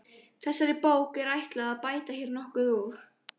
Þessari bók er ætlað að bæta hér nokkuð úr.